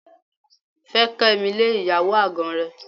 Fẹ́ Kẹ́mi lé ìyàwó àgàn rẹ.